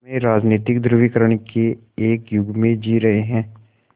हम राजनीतिक ध्रुवीकरण के एक युग में जी रहे हैं